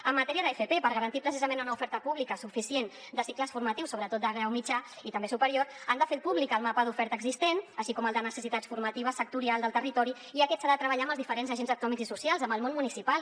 en matèria d’fp per garantir precisament una oferta pública suficient de cicles formatius sobretot de grau mitjà i també superior han de fer públic el mapa d’oferta existent així com el de necessitats formatives sectorial del territori i aquest s’ha de treballar amb els diferents agents econòmics i socials amb el món municipal